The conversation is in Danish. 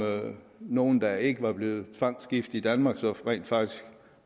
nogen der ikke var blevet tvangsgift i danmark så rent faktisk